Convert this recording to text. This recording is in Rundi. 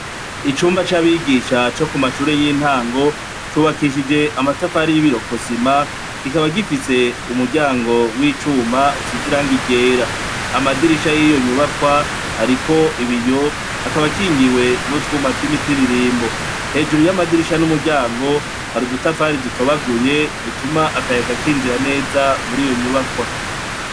Icumba cabigisha cokumashure yintango cubakishije amatafari nibirokosima kikaba gifise umuryango wicuma nibirokosima kikaba gifise umuryango wicuma usize irangi ryera amadirisha yiyonyubakwa ariko ibiyo akaba akingiwe nutwuma twimitimbo hejuru yamadirisha numuryngo hari udutafari dutobaguye dutuma akayaga kinjira neza muriyo nyubakwa.